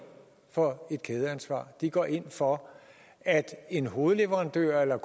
for kædeansvar de går ind for at en hovedleverandør eller